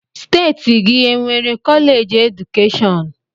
Steeti gị e nwere kọleeji keedukeshọn?